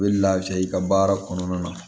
U bɛ laafiya i ka baara kɔnɔna na